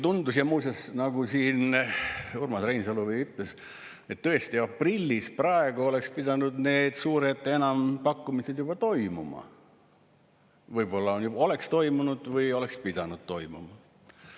Muuseas, nagu siin Urmas Reinsalu ütles, tõesti, aprillis, praegu oleks pidanud need suured enampakkumised juba toimuma, võib-olla oleks toimunud, oleks pidanud toimuma.